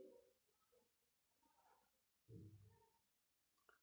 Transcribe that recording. না চিনতে পারিনি আপনি একটু নামটা বলবেন কি?